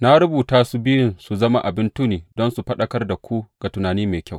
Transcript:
Na rubuta su biyun su zama abin tuni don su faɗakar da ku ga tunani mai kyau.